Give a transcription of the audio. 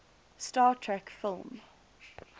star trek film